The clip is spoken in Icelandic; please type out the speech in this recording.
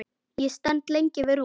Ég stend lengi við rúmið.